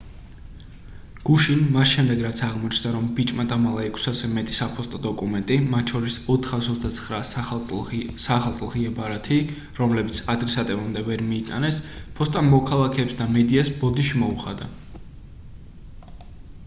გუშინ მას შემდეგ რაც აღმოჩნდა რომ ბიჭმა დამალა 600-ზე მეტი საფოსტო დოკუმენტი მათ შორის 429 საახალწლო ღია ბარათი რომლებიც ადრესატებამდე ვერ მიიტანეს ფოსტამ მოქალაქეებს და მედიას ბოდიში მოუხადა